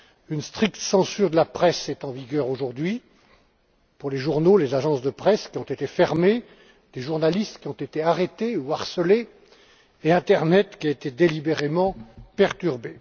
Une stricte censure de la presse est en vigueur aujourd'hui pour les journaux, des agences de presse ont été fermées, des journalistes ont été arrêtés ou harcelés et Internet a été délibérément perturbé.